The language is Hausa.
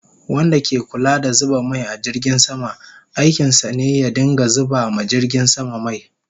Wanda ke Kulla da zuba mai a jirgin sama, aikin sa ne ya dinga zuba ma jirgin sama mai